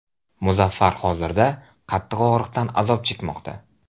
Muzaffar hozirda qattiq og‘riqdan azob chekmoqda.